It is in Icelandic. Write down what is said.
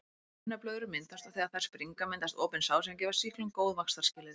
Brunablöðrur myndast og þegar þær springa myndast opin sár sem gefa sýklum góð vaxtarskilyrði.